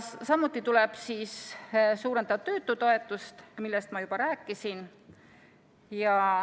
Samuti tuleb suurendada töötutoetust, millest ma juba rääkisin.